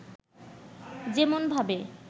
যেমন ভাবে